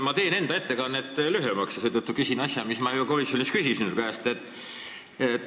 Ma teen enda ettekannet lühemaks ja seetõttu küsin seda, mida ma juba komisjonis sinu käest küsisin.